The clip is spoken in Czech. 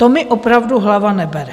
To mi opravdu hlava nebere.